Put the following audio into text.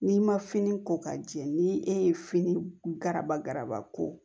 N'i ma fini ko ka jɛ ni e ye fini garabaraba ko